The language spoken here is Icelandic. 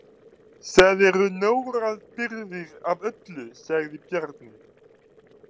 Það eru nógar birgðir af öllu, sagði Bjarni.